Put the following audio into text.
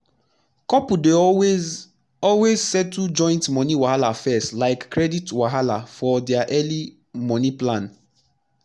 couples dey always always settle joint moni wahala first like credit wahala for dia early moni plan